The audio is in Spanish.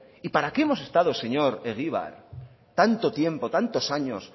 y para qué hemos estado señor egibar tanto tiempo tantos años